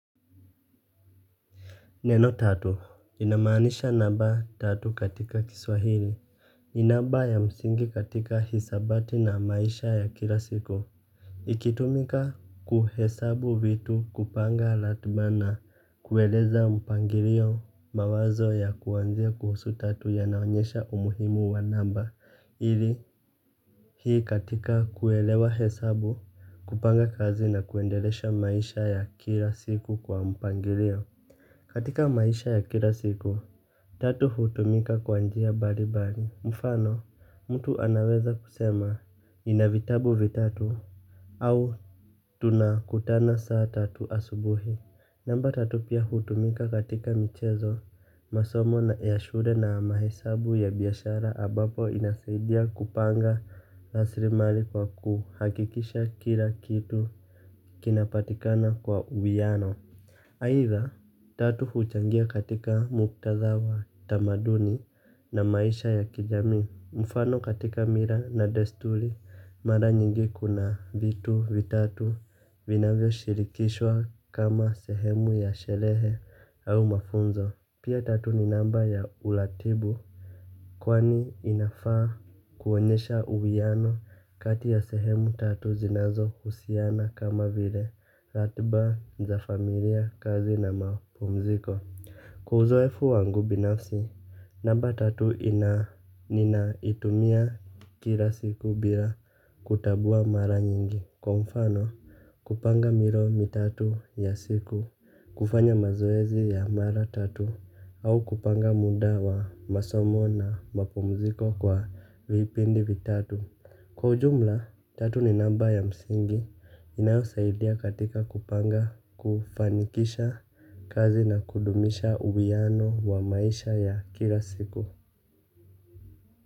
Neno tatu inamaanisha namba tatu katika kiswahili ni namba ya msingi katika hisabati na maisha ya kila siku. Ikitumika kuhesabu vitu kupanga latba na kueleza mpangirio mawazo ya kuwanzia kuhusu tatu yanaonyesha umuhimu wa namba ili hii katika kuelewa hesabu kupanga kazi na kuendelesha maisha ya kila siku kwa mpangilio. Katika maisha ya kila siku, tatu hutumika kwa njia bari bari. Mfano, mtu anaweza kusema nina vitabu vitatu au tunakutana saa tatu asubuhi. Namba tatu pia hutumika katika michezo, masomo na ya shule na mahesabu ya biyashara abapo inasaidia kupanga raslimali kwa kuhakikisha kila kitu kinapatikana kwa uwiano. Haitha tatu huchangia katika muktadha wa tamaduni na maisha ya kijamii. Mfano katika mira na destuli mara nyingi kuna vitu vitatu vinavyoshirikishwa kama sehemu ya sherehe au mafunzo. Pia tatu ni namba ya uratibu. Kwani inafaa kuonyesha uwiano kati ya sehemu tatu zinazo husiana kama vile ratba za familia kazi na mapumziko. Kwa uzoefu wangu binafsi namba tatu inaitumia kila siku bila kutabua mara nyingi. Kwa mfano, kupanga milo mitatu ya siku, kufanya mazoezi ya mara tatu, au kupanga muda wa masomo na mapumziko kwa vipindi vitatu. Kwa ujumla, tatu ni namba ya msingi, inayosaidia katika kupanga kufanikisha kazi na kudumisha uwiaano wa maisha ya kila siku.